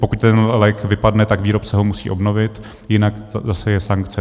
Pokud ten lék vypadne, tak výrobce ho musí obnovit, jinak zase je sankce.